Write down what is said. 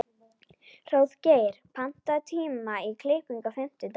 Hróðgeir, pantaðu tíma í klippingu á fimmtudaginn.